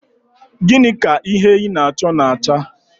Gịnị ka ihe ị na-achọ na-acha?